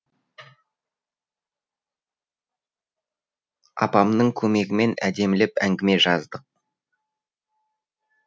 апамның көмегімен әдемілеп әңгіме жаздық